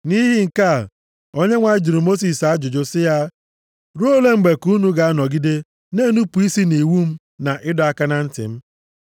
Nʼihi nke a, Onyenwe anyị jụrụ Mosis ajụjụ sị ya, “Ruo ole mgbe ka unu ga-anọgide na-enupu isi nʼiwu m na ịdọ aka na ntị m?